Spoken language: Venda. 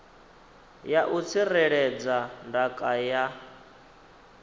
ya u tsireledza ndaka ya